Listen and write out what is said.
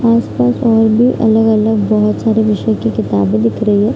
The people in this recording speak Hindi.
आसपास और भी अलग-अलग बहोत सारे विषय की किताबें दिख रही है।